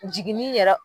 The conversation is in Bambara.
Jiginni yɛrɛ